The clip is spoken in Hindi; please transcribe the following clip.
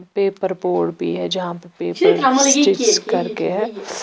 पेपर बोर्ड भी है जहां पे पेपर स्टिच करके है।